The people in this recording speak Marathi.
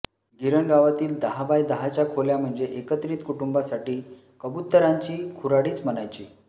गिरणगावातील दहा बाय दहाच्या खोल्या म्हणजे एकत्रित कुटुंबासाठी कबुतरांची खुराडीच म्हणायची